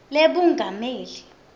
lebungameli